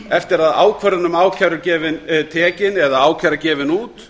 eftir að ákvörðun um ákæru er tekin eða ákæra gefin út